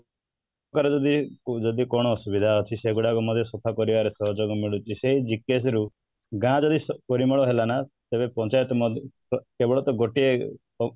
କାହାର ଯଦି ଯଦି କ'ଣ ଅସୁବିଧା ଅଛି ସେଗୁଡାକ ନହେଲେ ସଫା କରିବାର ସହଯୋଗ ମିଳୁଛି ସେଇ ବିକାଶ ରୁ ଗାଁ ର ବି ପରିମଳ ହେଲା ନା ତେବେ ପଞ୍ଚାୟତ ନହେଲେ କେବଳ ସେ ଗୋଟିଏ